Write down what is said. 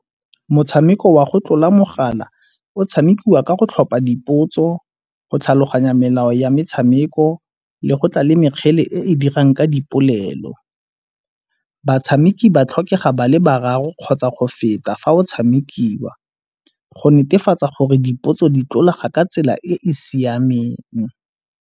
Motshameko wa go tlola mogala o tshamikiwa ka go tlhopha dipotso, go tlhaloganya melao ya metshameko le go tla le mekgele e dirang ka dipolelo. Batshameki ba tlhokega ba le boraro kgotsa go feta fa go tshamekiwa go netefatsa gore dipotso di tlolaga ka tsela e e siameng.